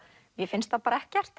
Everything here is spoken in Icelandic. mér finnst það bara ekkert